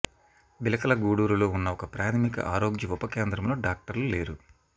బిలకల గూడూరులో ఉన్న ఒక ప్రాథమిక ఆరోగ్య ఉప కేంద్రంలో డాక్టర్లు లేరు